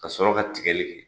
Ka sɔrɔ ka tigali kɛ